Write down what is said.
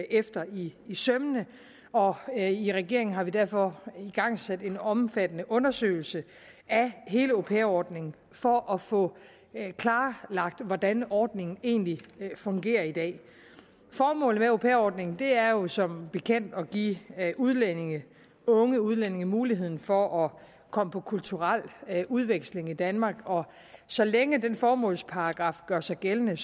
efter i sømmene og i regeringen har vi derfor igangsat en omfattende undersøgelse af hele au pair ordningen for at få klarlagt hvordan ordningen egentlig fungerer i dag formålet med au pair ordningen er jo som bekendt at give udlændinge unge udlændinge muligheden for at komme på kulturel udveksling i danmark og så længe den formålsparagraf gør sig gældende